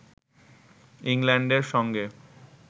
ইংল্যান্ডের সঙ্গে